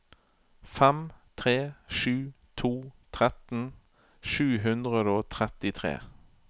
fem tre sju to tretten sju hundre og trettitre